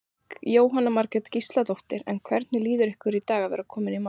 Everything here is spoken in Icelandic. Jóhanna Margrét Gísladóttir: En hvernig líður ykkur í dag að vera komin í mark?